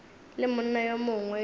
le monna yo mongwe yo